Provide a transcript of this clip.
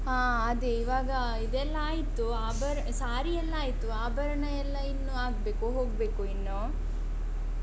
ಹ ಅದೇ ಇವಾಗ ಇದೆಲ್ಲ ಆಯ್ತು ಆಭರ್ ಸಾರಿಯೆಲ್ಲ ಆಯ್ತು ಆಭರಣಯೆಲ್ಲಾ ಇನ್ನು ಆಗ್ಬೇಕು ಹೋಗ್ಬೇಕು ಇನ್ನು.